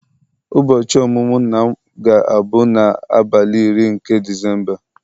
ụbọchị ọmụmụ nna m ga-abụ n'abalị iri nke Disemba